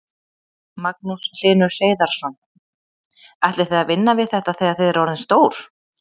Magnús Hlynur Hreiðarsson: Ætlið þið að vinna við þetta þegar þið eruð orðin stór?